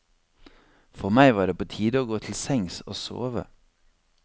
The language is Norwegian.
For meg var det var på tide å gå til sengs, og sove.